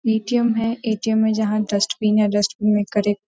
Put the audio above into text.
ATM. है ATM. में जहां डस्टबिन है डस्टबिन में करें --